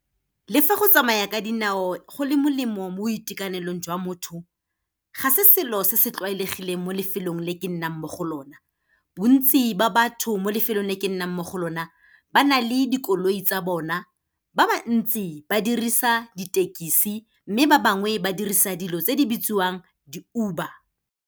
Le fa go tsamaya ka dinao go le molemo mo boitekanelong jwa motho, ga se selo se se tlwaelegileng mo lefelong le ke nnang mo go lona. Bontsi ba batho mo lefelong le ke nnang mo go lona, ba na le dikoloi tsa bona, ba ba ntsi ba dirisa ditekisi, mme ba bangwe ba dirisa dilo tse di bitsiwang di-Uber.